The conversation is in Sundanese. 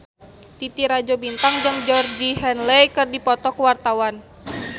Titi Rajo Bintang jeung Georgie Henley keur dipoto ku wartawan